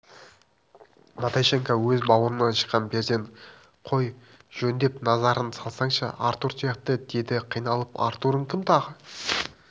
наташенька өз бауырыңнан шыққан перзент қой жөндеп назар салсаңшы артур сияқты деді қиналып артурың кім тағы